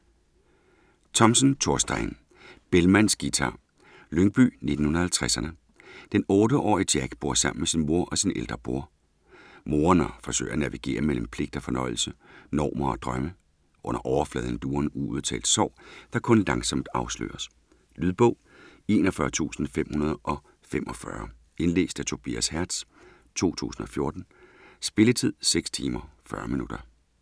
Thomsen, Thorstein: Bellmans guitar Lyngby 1950'erne. Den 8-årige Jack bor sammen med sin mor og sin ældre bror. Moren forsøger at navigere mellem pligt og fornøjelse, normer og drømme. Under overfladen lurer en uudtalt sorg, der kun langsomt afsløres. Lydbog 41545 Indlæst af Tobias Hertz, 2014. Spilletid: 6 timer, 40 minutter.